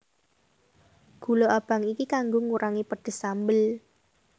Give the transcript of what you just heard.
Gula abang iki kanggo ngurangi pedes sambel